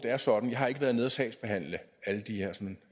er sådan jeg har ikke været inde at sagsbehandle